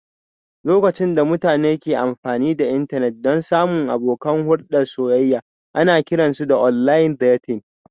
Lokacin da mutane ke amfani da intanet don samun abokan hulɗar soyayya ana kiran su online dating